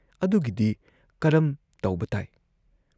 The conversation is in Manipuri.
ꯑꯗꯨꯒꯤꯗꯤ ꯀꯔꯝ ꯇꯧꯕ ꯇꯥꯏ?"